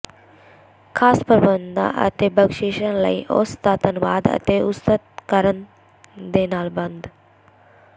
ਖਾਸ ਪ੍ਰਬੰਧਾਂ ਅਤੇ ਬਖਸ਼ਿਸ਼ਾਂ ਲਈ ਉਸ ਦਾ ਧੰਨਵਾਦ ਅਤੇ ਉਸਤਤ ਕਰਨ ਦੇ ਨਾਲ ਬੰਦ